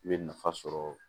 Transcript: I bɛ nafa sɔrɔ